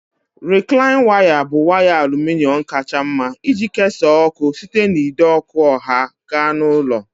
Rịklaịn waya bụ waya aluminọm kacha mma iji kesaa ọkụ site n'ide ọkụ ọha gaa na ụlọ